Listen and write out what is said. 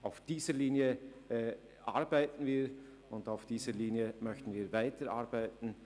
Auf dieser Linie arbeiten wir, und auf dieser Linie möchten wir weiterarbeiten.